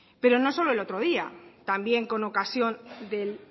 pero no solo el otro día también con ocasión del